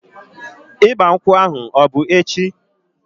Ịgba nkwụ ahu ọ bụ echi?